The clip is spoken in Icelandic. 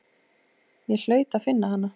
Ég hlaut að finna hana.